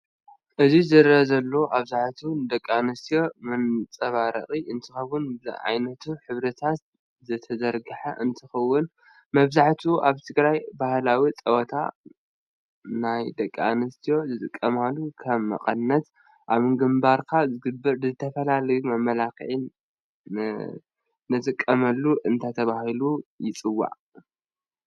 እዚ ዝርአ ዘሉ ብኣብዝሓ ንደቂኣንስትዮ መንፃባረቂ እንትከውን ብየዓይነቲ ሕብርታት ዝተዘርገሕ እንትከውን መብዛሕትኡ ኣብ ትግራይ ባሀላዊ ፀወታት ናይ ደቂ ኣንስትዩ ዝጥቀማሉ ከም መቀነት ፣ኣብ ግባርካ ዝግበር ንዝተፈላላየ መመለክዕ ንትቀመሉ እንታይ ተበሂሉ ይፅዋዕ?